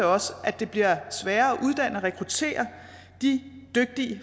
også at det bliver sværere at uddanne og rekruttere de dygtige